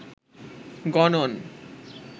গণন